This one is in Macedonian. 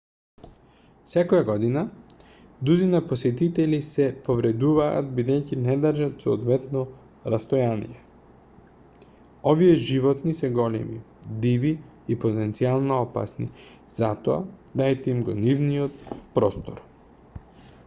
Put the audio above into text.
секоја година дузина посетители се повредуваат бидејќи не држат соодветно растојание овие животни се големи диви и потенцијално опасни затоа дајте им го нивниот простор